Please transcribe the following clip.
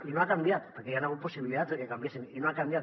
i no ha canviat perquè hi han hagut possibilitats de que canviessin i no ha canviat